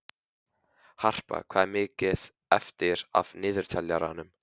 Harpa, hvað er mikið eftir af niðurteljaranum?